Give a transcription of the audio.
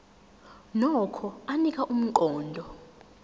nokho anika umqondo